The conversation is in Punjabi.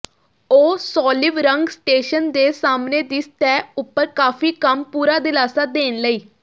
ਉਹ ਸੋਲਿਵਰੰਗ ਸਟੇਸ਼ਨ ਦੇ ਸਾਹਮਣੇ ਦੀ ਸਤਹ ਉਪਰ ਕਾਫੀ ਕੰਮ ਪੂਰਾ ਦਿਲਾਸਾ ਦੇਣ ਲਈ